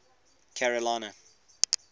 carolina